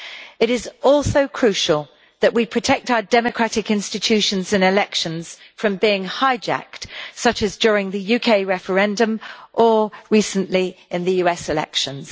It is also crucial that we protect our democratic institutions and elections from being hijacked, such as during the UK referendum or, recently, in the US elections.